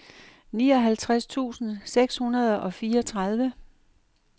nioghalvtreds tusind seks hundrede og fireogtredive